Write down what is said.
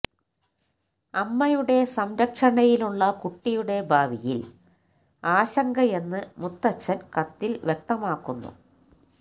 അമ്മയുടെ സംരക്ഷണയിലുള്ള കുട്ടിയുടെ ഭാവിയില് ആശങ്കയെന്ന് മുത്തച്ഛന് കത്തില് വ്യക്തമാക്കുന്നു